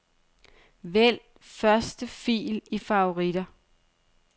Vælg første fil i favoritter.